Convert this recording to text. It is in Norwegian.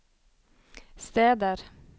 steder